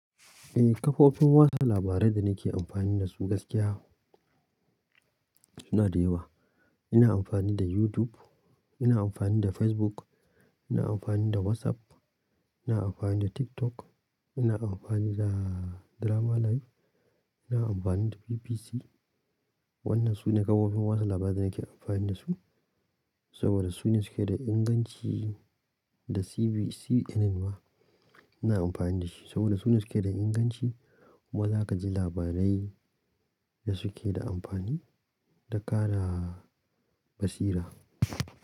A kafofin wata labarai da nake amfani dasu gaskiya suna da yawa. Ina amfani da YouTube, ina amfani da Facebook, ina amfani da WhatsApp, ina amfani da TikTok, ina amfani da DramaLive, ina amfani da BBC. Wannan sune kafofin watsa labarai da nake amfani da su saboda su ne suke da inganci da CNN ma ina amfani da shi saboda su ne suke da inganci kuma za ka ji labarai da suke da amfani, da ka na basira.